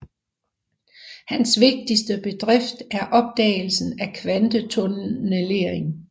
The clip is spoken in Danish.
Hans vigtigste bedrift er opdagelsen af kvantetunnellering